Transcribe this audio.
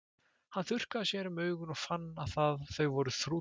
Hann þurrkaði sér um augun og fann að þau voru þrútin.